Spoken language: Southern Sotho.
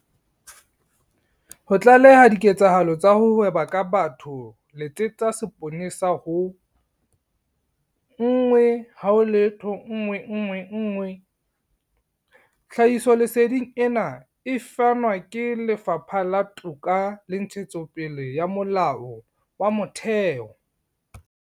Ho tlaleha diketsahalo tsa ho hweba ka batho letsetsa seponesa ho- 10111. Tlhahisoleseding ena e fanwe ke Lefapha la Toka le Ntshetsopele ya Molao wa Motheo.